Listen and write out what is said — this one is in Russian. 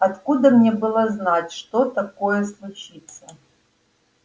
откуда мне было знать что такое случится